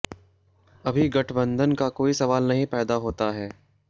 अभी गठबंधन का कोई सवाल नहीं पैदा होता है